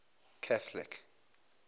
catholic